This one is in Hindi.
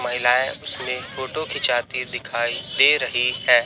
महिलाएं उसमें फोटो खिंचाती दिखाई दे रही है।